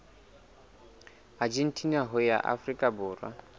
argentina ho ya afrika borwa